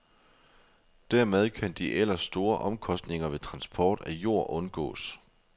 Dermed kan de ellers store omkostninger ved transport af jord undgås.